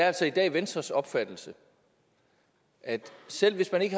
altså i dag er venstres opfattelse at selv hvis man ikke